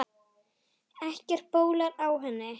Ekkert bólar á henni.